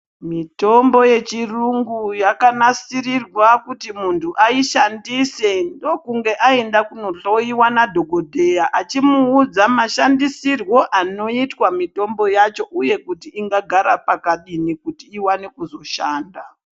Mitombo yechiyungu yakanasirirwa kuti muntu aishandise ndokuti muntu aenda kunohloiwa nadhokodheya ,achimuudza mashandisirwo anoitwa mitombo yacho ,uye kuti ingagara pakadini, kuti iwane kuzoshanda .